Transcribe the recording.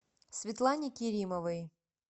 светлане керимовой